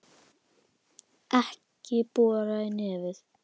Ekki bora í nefið!